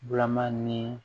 Bulaman ni